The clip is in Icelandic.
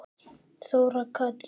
Þóra Katrín.